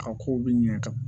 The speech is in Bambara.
A kow bi ɲɛ ka